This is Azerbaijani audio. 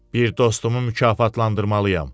Bir dostumu mükafatlandırmalıyam.